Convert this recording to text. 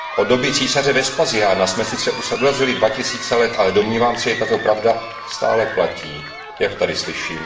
Od doby císaře Vespasiána jsme sice urazili dva tisíce let, ale domnívám se, že tato pravda stále platí, jak tady slyším.